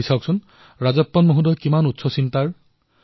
চিন্তা কৰক ৰাজপ্পনজীৰ চিন্তাধাৰা কিমান উচ্চখাপৰ